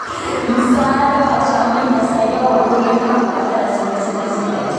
Msaada wa jamii unasaidia wakulima kupata rasilimali zinazohitajika.